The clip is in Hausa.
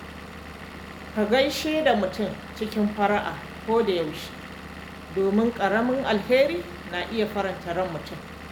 Ka gaishe da mutane cikin fara’a koda yaushe, domin ƙaramin alheri na iya faranta ran mutum.